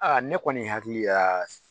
Aa ne kɔni hakili la